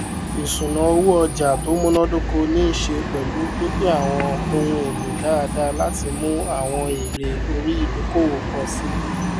ìṣúnáowó ọjà tó munadoko niiṣe pẹlu pínpín àwọn ohun èlò dáadáa láti mú àwọn èèrè orí idókòwò pọ síi